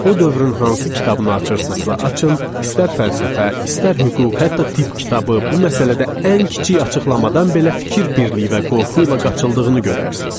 O dövrün hansı kitabını açırsınızsa açın, istər fəlsəfə, istər hüquq, hətta tibb kitabı bu məsələdə ən kiçik açıqlamadan belə fikir birliyi və qorxu ilə qaçıldığını görərsiniz.